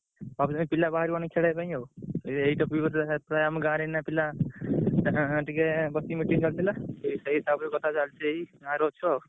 କହୁଛନ୍ତି ପିଲା ବାହାରୁ ଆଣି ଖେଳିଆ ପାଇଁ ଆଉ ଏଇ topic ସେଥିପାଇଁ ଆମ ଗାଁରେ ଏଇନା ପିଲା ଆଁ ଟିକେ ବସିକି meeting ଚାଲିଥିଲା। ଏଇ ସେଇ ତାଉପରେ କଥା ଚାଲିଚି ଏଇ ଗାଁରେ ଅଛୁ ଆଉ।